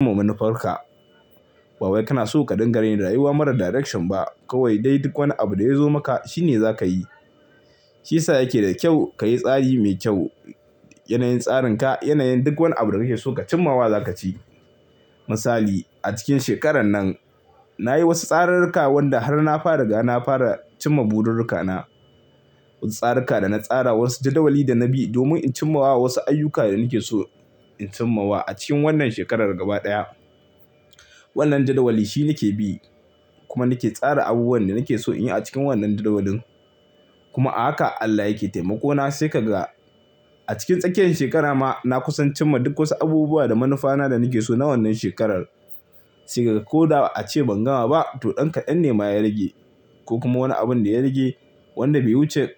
Kuma manufarka. Ba wai kana so ka dinga ne da rayuwa mara direction ba kawai dai duk wani abu da ya zo maka shi ne za ka yi. Shi ya sa yake da kyau ka yi tsari mai kyau. Yanayin tsarin ka, yanayin duk wani abu da kake so ka cimmawa za ka ci. Misali a cikin shekarar nan na yi wasu tsarurruka wanda har na fa riga na fara cimma burirrikana. Wasu tsarika da na tsara wasu jadawali da na bi domin in cimma wa wasu ayyuka da nake so in cimma wa a cikin wannan shekarar gaba ɗaya. Wannan jadawali shi nake bi kuma nake tsara abubuwan da nake so in yi a cikin wannan jadawalin. Kuma a haka Allah yake taimako na sai ka ga a cikin tsakiyan shekara ma na kusa in cimma duk wasu abubuwa da manufana da nake so na wannan shekarar. Sai ka ga ko da a ce ban gama ba to ɗan kaɗan ne ma ya rage ko kuma wani abun da ya rage wanda bai wuce,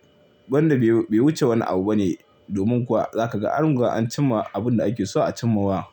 wanda bai wuce wani abu ba ne. Domin kuwa za ka ga an riga an cimma abun da ake so a cimma wa.